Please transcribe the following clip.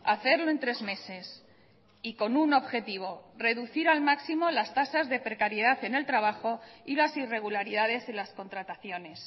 hacerlo en tres meses y con un objetivo reducir al máximo las tasas de precariedad en el trabajo y las irregularidades en las contrataciones